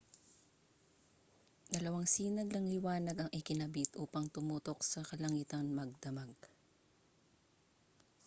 dalawang sinag ng liwanag ang ikinabit upang tumutok sa kalangitan magdamag